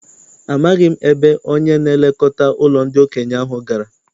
Amaghị m ebe onye na-elekọta ụlọ ndị okenye ahụ gara.